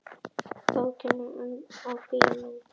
Bókin og bíómyndin.